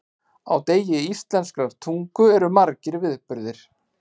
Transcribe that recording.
Á degi íslenskrar tungu eru margir viðburðir.